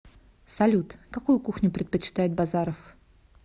салют какую кухню предпочитает базаров